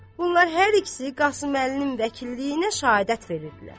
Bunlar hər ikisi Qasıməlinin vəkilliyinə şəhadət verirdilər.